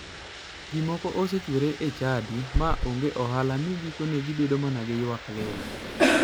Ji moko osechwere e chadi ma onge ohala mi gikone to gibedo mana gi ywak lilo.